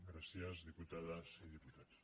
gràcies diputades i diputats